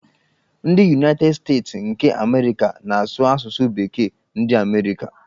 Ndị Yunaited Steeti nke Amerịka na-asụ asụsụ bekee ndi amerika.